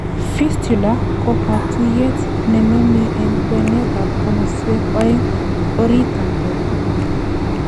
fistula ko katuyet nemomie en kwenet ak komoswek oeng en oritit ab borto